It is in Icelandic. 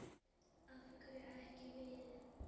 Af hverju ekki við?